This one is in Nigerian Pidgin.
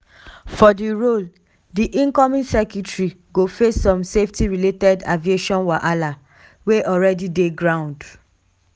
for di role di incoming secretary go face some safety related aviation wahala wey alreadi dey ground.